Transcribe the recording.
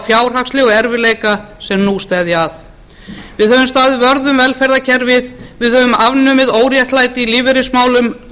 fjárhagslegu erfiðleika sem nú steðja að við höfum staðið vörð um velferðarkerfið við höfum afnumið óréttlæti í lífeyrismálum